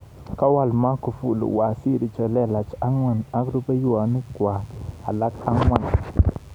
Kawal Magufjli waziri chelelach angwan ak rupehwokik alak angwan.